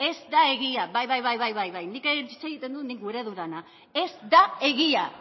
ez da egia bai bai nik hitz egiten dut nik gura dodana ez da egia